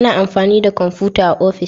A na amfani da komfuta a ofis